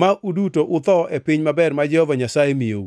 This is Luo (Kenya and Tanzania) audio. ma uduto utho e piny maber ma Jehova Nyasaye miyou.